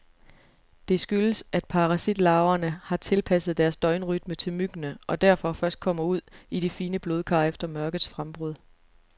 Det skyldes, at parasitlarverne har tilpasset deres døgnrytme til myggene, og derfor først kommer ud i de fine blodkar efter mørkets frembrud.